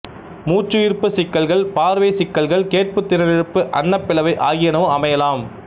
மூச்சுயிர்ப்புச் சிக்கல்கள் பார்வைச் சிக்கல்கள் கேட்புத் திறனிழப்பு அண்ணப்பிளவை ஆகியனவும் அமையலாம்